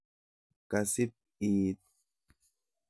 Kasip iit?